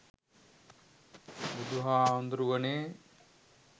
බුදුහාමුදුරුවනේ,